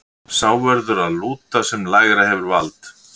Sá verður að lúta sem lægra hefur vald.